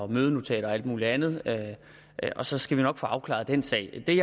mødenotater og alt muligt andet og så skal vi nok få afklaret den sag det